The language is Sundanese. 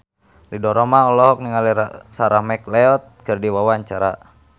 Ridho Roma olohok ningali Sarah McLeod keur diwawancara